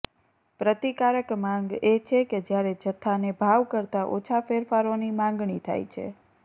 પ્રતિકારક માંગ એ છે કે જ્યારે જથ્થાને ભાવ કરતાં ઓછાં ફેરફારોની માગણી થાય છે